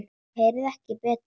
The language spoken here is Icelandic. Ég heyrði ekki betur.